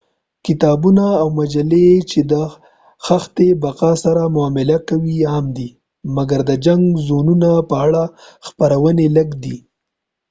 کتابونه او مجلې چې د دښته بقا سره معامله کوي عام دي مګر د جنګ زونونو په اړه خپرونې لږ دي